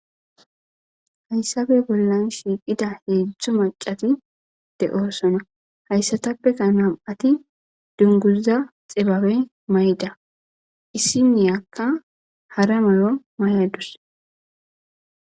Hayssabe bollan shiiqida heedzdzu maccati de7osona. Hayssatappeka nam7ati dungguzza xibabe mayida isinniyakka hara mayo mayadus.